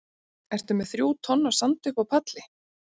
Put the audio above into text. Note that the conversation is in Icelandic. Ertu með þrjú tonn af sandi uppi á palli?